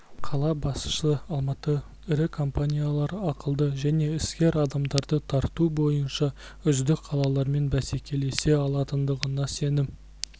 қала басшысы алматы ірі компаниялар ақылды және іскер адамдарды тарту бойынша үздік қалалармен бәсекелесе алатындығына сенім